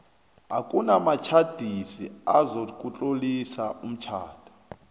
akunamtjhadisi ozakutlolisa umtjhado